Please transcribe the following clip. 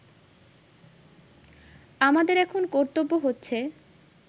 আমাদের এখন কর্তব্য হচ্ছে